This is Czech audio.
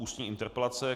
Ústní interpelace